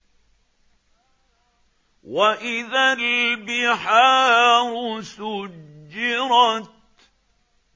وَإِذَا الْبِحَارُ سُجِّرَتْ